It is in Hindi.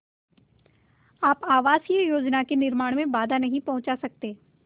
आप आवासीय योजना के निर्माण में बाधा नहीं पहुँचा सकते